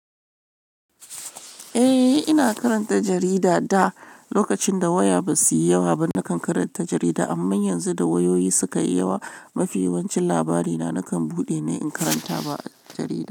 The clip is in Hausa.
Eh, ina karanta jarida da lokacin da waya basu yi yawa ba. Nakan karanta jarida amma yanzu da wayoyi suka yi yawa, mafi yawancin labari na nakan buɗe ne in karanta ba'a jarida.